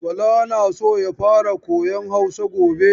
Bala na so ya fara koyan Hausa gobe.